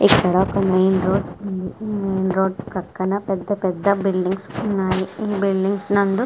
ఇక్కడ ఒక main road .main road పక్కన పెద్ద పెద్ద బిల్డింగ్స్ ఉన్నాయి.ఈ బిల్డింగ్స్ నందు--